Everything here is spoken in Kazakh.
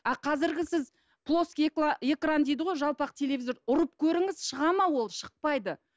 а қазіргі сіз плоский экран дейді ғой жалпақ телевизор ұрып көріңіз шығады ма ол шықпайды